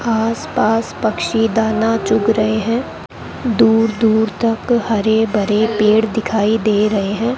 आसपास पक्षी दाना चुग रहे हैं दूर दूर तक हरे भरे पेड़ दिखाई दे रहे हैं।